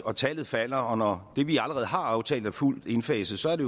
og tallet falder og når det vi allerede har aftalt er fuldt indfaset så er det